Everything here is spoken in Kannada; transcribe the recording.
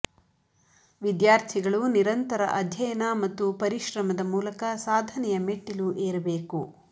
ವಿದ್ಯಾರ್ಥಿಗಳು ನಿರಂತರ ಅಧ್ಯಯನ ಮತ್ತು ಪರಿಶ್ರಮದ ಮೂಲಕ ಸಾಧನೆಯ ಮೆಟ್ಟಿಲು ಏರಬೇಕು